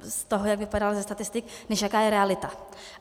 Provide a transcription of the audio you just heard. z toho, jak vypadala ze statistik, než jaká je realita.